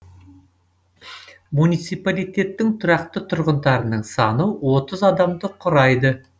муниципалитеттің тұрақты тұрғындарының саны отыз адамды құрайды